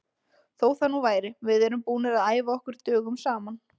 Þó það nú væri, við erum búnir að æfa okkur dögum saman.